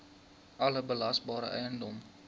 alle belasbare eiendom